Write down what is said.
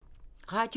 Radio 4